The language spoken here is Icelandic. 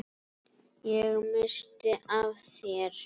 Ég missti af þér.